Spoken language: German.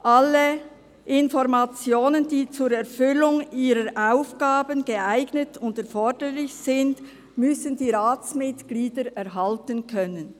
«alle Informationen, die zur Erfüllung ihrer Aufgaben geeignet und erforderlich sind», erhalten können.